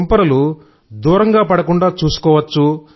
తుంపరలు దూరంగా పడకుండా చూసుకోవచ్చు